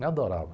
Me adorava.